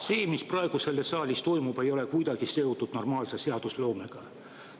See, mis praegu selles saalis toimub, ei ole kuidagi seotud normaalse seadusloomega.